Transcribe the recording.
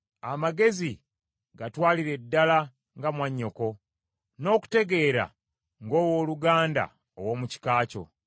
Amagezi gatwalire ddala nga mwannyoko, n’okutegeera, ng’owooluganda ow’omu kika kyo.